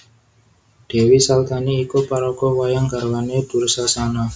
Dèwi Saltani iku paraga wayang garwané Dursasana